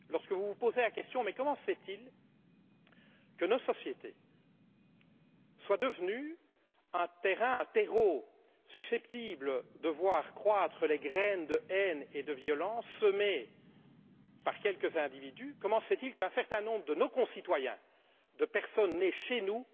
Lorsque vous vous posez la question Comment se fait il que nos sociétés soient devenues un terreau susceptible de voir croître les graines de haine et de violence semées par quelques individus? Comment se fait il qu'un certain nombre de nos concitoyens, de personnes nées chez nous,